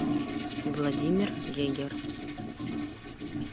владимир гегер